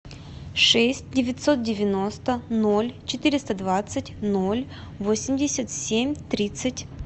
шесть девятьсот девяносто ноль четыреста двадцать ноль восемьдесят семь тридцать